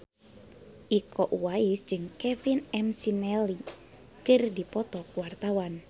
Iko Uwais jeung Kevin McNally keur dipoto ku wartawan